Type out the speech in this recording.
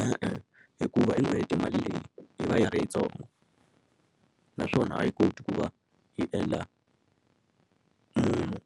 E-e hikuva hi n'hweti mali leyi yi va yi ri yitsongo naswona a yi koti ku va yi endla munhu